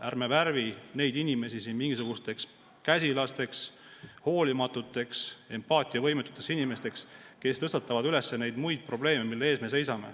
Ärme värvime neid inimesi, kes tõstatavad neid probleeme, mille ees me seisame, mingisugusteks käsilasteks, hoolimatuteks, empaatiavõimetuteks inimesteks.